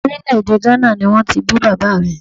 Orílè èdè Gánà ni wọ́n ti bí bàbá mi